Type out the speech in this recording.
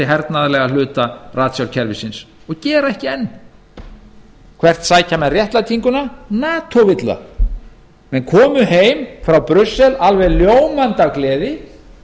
hernaðarlega hluta ratsjárkerfisins og gera ekki enn hvert sækja menn réttlætinguna nato vill það menn komu heim frá brussel alveg ljómandi af gleði